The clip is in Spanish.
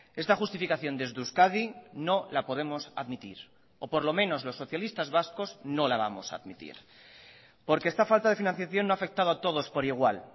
esta justificación desde euskadi no la podemos admitir o por lo menos los socialistas vascos no la vamos a admitir porque esta falta de financiación no ha afectado a todos por igual